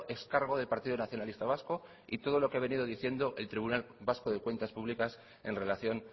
ex cargo del partido nacionalista vasco y todo lo que ha venido diciendo el tribunal vasco de cuentas públicas en relación